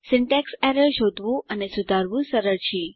syntax errors શોધવું અને સુધારવું સરળ છે